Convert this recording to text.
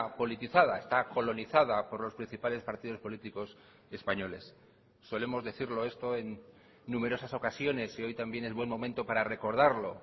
politizada está colonizada por los principales partidos políticos españoles solemos decirlo esto en numerosas ocasiones y hoy también es buen momento para recordarlo